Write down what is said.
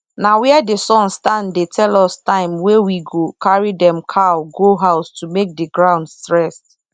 na where the sun stand dey tell us time wey we go carry dem cow go house to make the ground rest